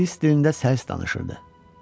O ingilis dilində səlis danışırdı.